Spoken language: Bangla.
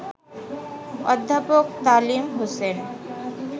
অধ্যাপক তালিম হোসেন